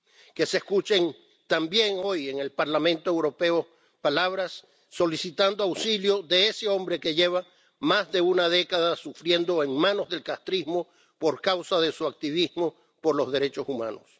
Que se escuchen también hoy en el Parlamento Europeo palabras solicitando auxilio de ese hombre que lleva más de una década sufriendo en manos del castrismo por causa de su activismo por los derechos humanos.